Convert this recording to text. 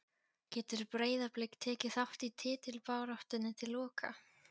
Getur Breiðablik tekið þátt í titilbaráttunni til loka?